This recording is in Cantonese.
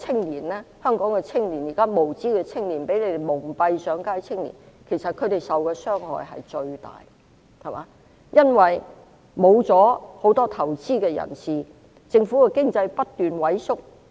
現在香港一些無知青年被反對派蒙騙上街，其實他們受的傷害最大，因為很多投資者撤離，令經濟不斷萎縮。